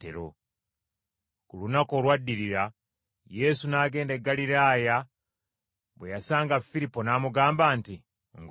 Ku lunaku olwaddirira, Yesu n’agenda e Ggaliraaya, bwe yasanga Firipo n’amugamba nti, “Ngoberera.”